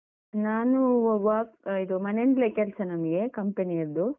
ನಾನು work , ಇದು ಮನೆಯಿಂದ್ಲೇ ಕೆಲ್ಸ ನಮ್ಗೆ company ಯದ್ದು.